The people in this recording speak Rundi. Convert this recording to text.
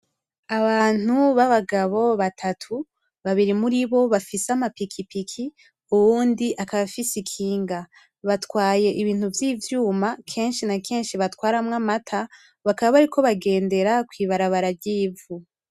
Abantu b'abagabo batatu, babiri muri bo bafise amapikipiki uwundi akaba afise ikinga. Batwaye ibintu vy'ivyuma kenshi na kenshi batwaramw' amata, bakaba bariko bagendera kw'ibarabara ry'ivu.